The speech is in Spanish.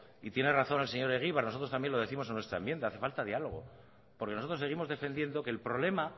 y tiene razón el señor egibar nosotros también lo décimos en nuestra enmienda hace falta diálogo porque nosotros seguimos defendiendo que el problema